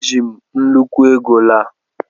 Eji m nnukwu ego laa